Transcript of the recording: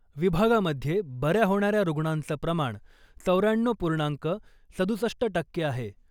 विभागामध्ये बऱ्या होणाऱ्या रुग्णांचं प्रमाण चौऱ्याण्णव पूर्णांक सदुसष्ट टक्के आहे .